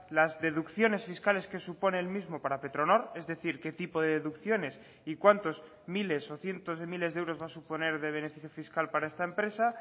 las deducciones fiscales que supone el mismo para petronor es decir qué tipo de deducciones y cuántos miles o cientos de miles de euros va a suponer de beneficio fiscal para esta empresa